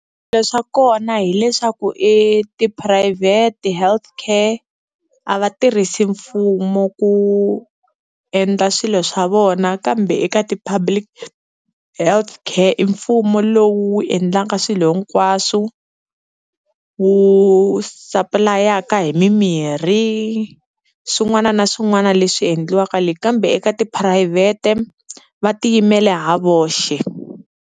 Swilo swa kona hileswaku i tiphurayivhete health care a va tirhisi mfumo ku endla swilo swa vona. Kambe eka ti-public health care i mfumo lowu wu endlaka swilo hinkwaswo, wu sapulayaku hi mimirhi swin'wana na swin'wana leswi endliwaka le kambe eka tiphurayivhete va tiyimela hi voxe.